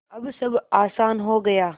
अब सब आसान हो गया